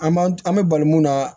An b'an an be bali mun na